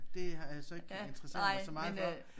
Det har jeg så ikke interesseret mig så meget for